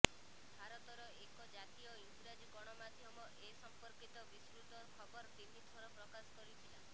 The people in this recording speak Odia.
ଭାରତର ଏକ ଜାତୀୟ ଇଂରାଜୀ ଗଣମାଧ୍ୟମ ଏ ସମ୍ପର୍କିତ ବିସ୍ତୃତ ଖବର ତିନିଥର ପ୍ରକାଶ କରିଥିଲା